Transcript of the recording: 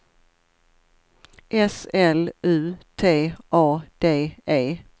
S L U T A D E